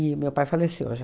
meu pai faleceu já.